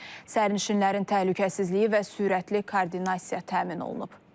Sərnişinlərin təhlükəsizliyi və sürətli koordinasiya təmin olunub.